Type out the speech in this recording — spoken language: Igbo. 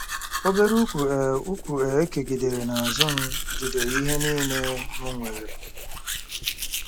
Obere ùkwù e ùkwù e kegidere n'azụ m jidere ihe niile m nwere.